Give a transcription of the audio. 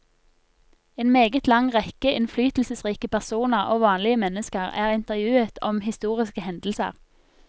En meget lang rekke innflytelsesrike personer og vanlige mennesker er intervjuet om historiske hendelser.